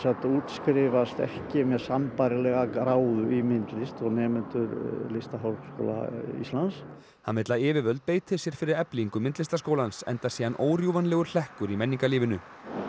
útskrifast ekki með sambærilega gráðu í myndlist og nemendur í Listaháskóla Íslands hann vill að yfirvöld beiti sér fyrir eflingu Myndlistaskólans enda sé hann órjúfanlegur hlekkur í menningarlífinu